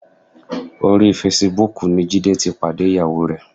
Orí fesibúùkù ni Jídé ti pàdé ìyàwó rẹ̀.